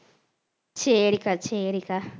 சரிக்கா சரிக்கா.